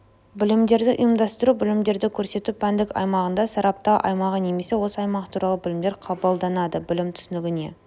білімдерді ұйымдастыру білімдерді көрсету пәндік аймағында сараптау аймағы немесе осы аймақ туралы білімдер қабылданады білім түсінігіне